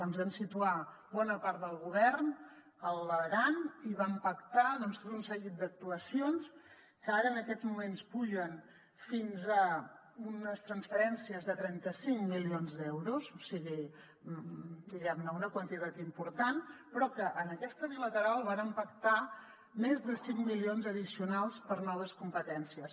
ens vam situar bona part del govern a l’aran i vam pactar doncs tot un seguit d’actuacions que ara en aquests moments pugen fins a unes transferències de trenta cinc milions d’euros o sigui una quantitat important però en aquesta bilateral vàrem pactar més de cinc milions addicionals per a noves competències